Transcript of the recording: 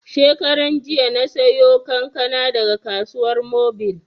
Shekaran jiya na sayo kankana daga Kasuwar Mobil